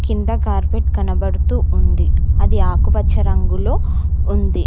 కింద కార్పెట్ కనబడుతూ ఉంది అది ఆకుపచ్చ రంగులో ఉంది.